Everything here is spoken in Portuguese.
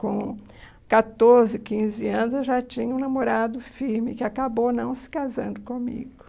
Com catorze, quinze anos, eu já tinha um namorado firme que acabou não se casando comigo.